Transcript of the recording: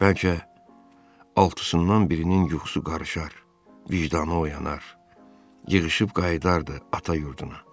Bəlkə altısından birinin yuxusu qarışar, vicdanı oyanar, yığışıb qayıdardı ata yurduna.